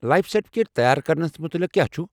Life certificate تیار كرنس مُتعلق كیاہ چُھ ؟